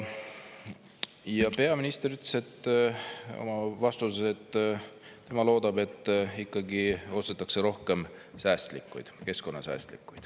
Ja peaminister ütles oma vastuses, et tema loodab, et ikkagi ostetakse rohkem säästlikke, keskkonnasäästlikke.